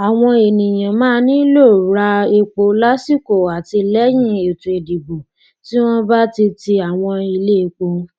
àwọn ènìyàn máa nílò ra epo lásìkò àti lẹyìn ètò ìdìbò tí wọn bá ti ti àwọn iléepo